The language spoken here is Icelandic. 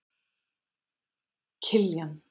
Kiljan